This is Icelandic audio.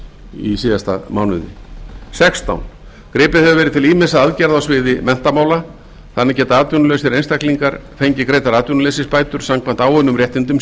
í síðasta mánuði sextán gripið hefur verið til ýmissa aðgerða á sviði menntamála þannig geta atvinnulausir einstaklingar fengið greiddar atvinnuleysisbætur samkvæmt áunnum réttindum